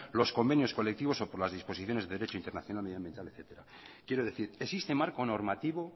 los convenios colectivos o por las disposiciones de derecho internacional medioambiental etcétera quiero decir existe marco normativo